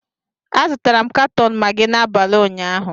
Azụtara m katọn Magị n'abalị ụnyaahụ